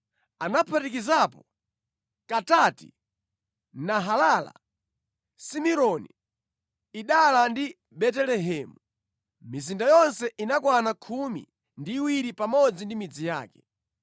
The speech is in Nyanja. Anaphatikizapo Katati, Nahalala, Simironi, Idala ndi Betelehemu. Mizinda yonse inakwana khumi ndi iwiri pamodzi ndi midzi yake.